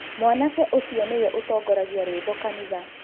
mwanake ũcio nĩwe ũtongoragia rwĩmbo kanitha